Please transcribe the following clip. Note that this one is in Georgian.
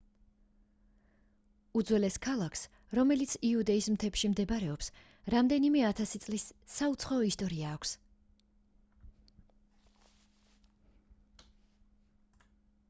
უძველეს ქალაქს რომელიც იუდეის მთებში მდებარეობს რამდენიმე ათასი წლის საუცხოო ისტორია აქვს